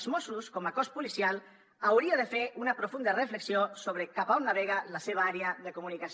els mossos com a cos policial haurien de fer una profunda reflexió sobre cap a on navega la seva àrea de comunicació